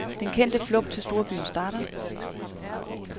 Den kendte flugt til storbyen starter.